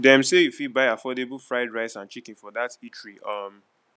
dem sey you fit buy affordable fried rice and chicken for dat eatery um